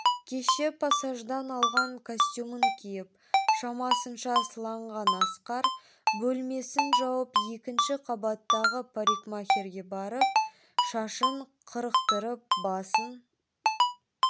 кеше пассаждан алған костюмін киіп шамасынша сыланған асқар бөлмесін жауып екінші қабаттағы парикмахерге барып шашын қырықтырып басын